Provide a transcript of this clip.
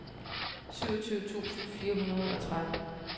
syvogtyve tusind fire hundrede og tretten